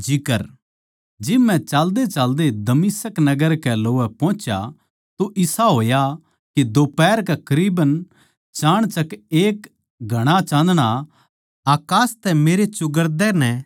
जिब मै चाल्देचाल्दे दमिश्क नगर कै लोवै पोहुच्या तो इसा होया के दोपहर कै करीबन चाणचक एक घणा चाँदणा अकास तै मेरै चौगरदे नै चमक्या